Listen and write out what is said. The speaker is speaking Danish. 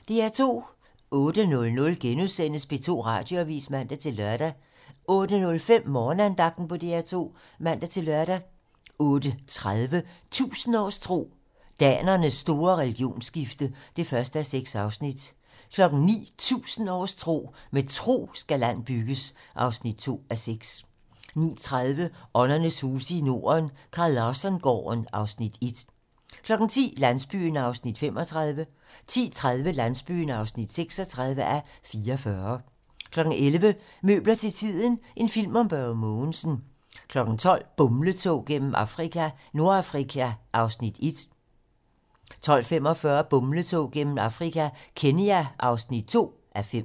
08:00: P2 Radioavis *(man-lør) 08:05: Morgenandagten på DR2 (man-lør) 08:30: 1000 års tro: Danernes store religionsskifte (1:6) 09:00: 1000 års tro: Med tro skal land bygges (2:6) 09:30: Åndernes huse i Norden - Carl Larsson-gården (Afs. 1) 10:00: Landsbyen (35:44) 10:30: Landsbyen (36:44) 11:00: Møbler til tiden - en film om Børge Mogensen 12:00: Bumletog gennem Afrika - Nordafrika (1:5) 12:45: Bumletog gennem Afrika - Kenya (2:5)